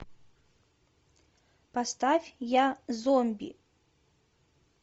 поставь я зомби